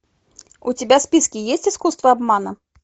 у тебя в списке есть искусство обмана